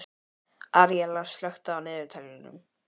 Aríela, slökktu á niðurteljaranum.